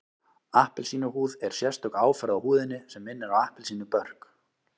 Appelsínuhúð er sérstök áferð á húðinni sem minnir á appelsínubörk